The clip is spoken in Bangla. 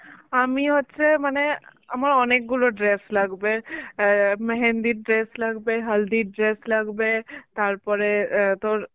আমি হচ্ছে মানে আমার অনেকগুলো dress লাগবে. অ্যাঁ মেহেন্দির dress লাগবে, হালদির dress লাগবে, তারপরে অ্যাঁ তোর